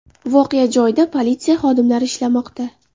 Voqea joyida politsiya xodimlari ishlamoqda.